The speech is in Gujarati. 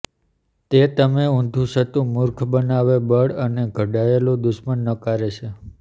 તે તમે ઊંધુંચત્તુ મૂર્ખ બનાવે બળ અને ઘડાયેલું દુશ્મન નકારે છે